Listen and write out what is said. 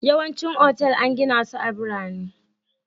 Yawancin otal an gina su a birane